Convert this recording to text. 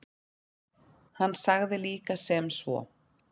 Hann sagði líka sem svo: